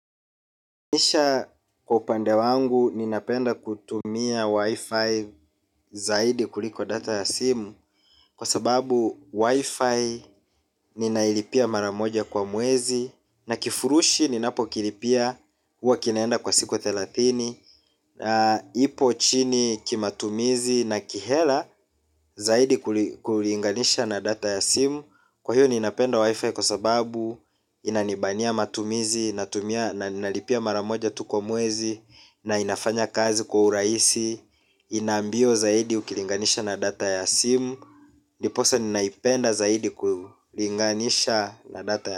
Kisha kwa upande wangu ninapenda kutumia wifi zaidi kuliko data ya simu kwa sababu wifi ninailipia maramoja kwa mwezi. Na kifurushi ninapokilipia uwa kinaenda kwa siku thelathini. Ipo chini kimatumizi na kihela zaidi kulinganisha na data ya simu. Kwa hiyo ninapenda wifi kwa sababu inanibania matumizi na nalipia maramoja tuko mwezi na inafanya kazi kwa urahisi. Inambio zaidi ukilinganisha na data ya simu ndiposa ninaipenda zaidi kulinganisha na data ya simu.